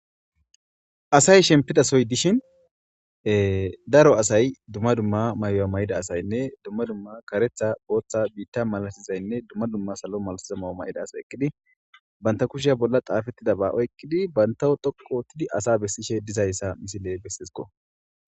Asay shemppida sohoy dishin daro asay dumma dumma mayuwa mayida asaynne dumma dumma kareththa,booththa, biiththa malasizaynne dumma dumma salo malasiza mayo mayida asay eqqidi banththa kushe bolla xaafeththidaba oyqqidi banththawu xoqqu ooththidi asaa bessishee dizayssa misilee besses koo.